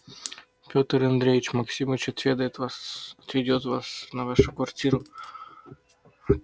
петр андреич максимыч отведает отведёт вас на вашу квартиру